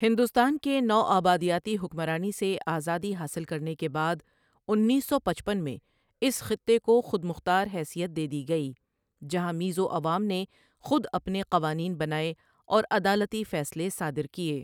ہندوستان کے نوآبادیاتی حکمرانی سے آزادی حاصل کرنے کے بعد، انیس سو پچپن میں اس خطے کو خود مختار حیثیت دے دی گئی، جہاں میزو عوام نے خود اپنے قوانین بنائے اور عدالتی فیصلے صادر کیے۔